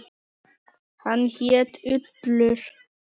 Hann hét Ullur.